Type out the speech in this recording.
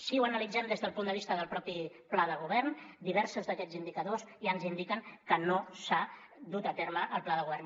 si ho analitzem des del punt de vista del mateix pla de govern diversos d’aquests indicadors ja ens indiquen que no s’ha dut a terme el pla de govern